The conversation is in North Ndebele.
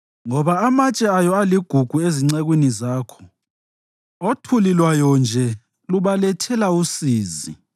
Ngoba amatshe ayo aligugu ezincekwini zakho; othuli lwayo nje lubalethela usizi.